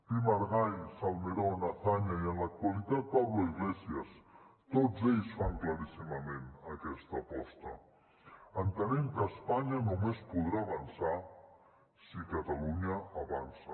pi i margall salmerón azaña i en l’actualitat pablo iglesias tots ells fan claríssimament aquesta aposta entenent que espanya només podrà avançar si catalunya avança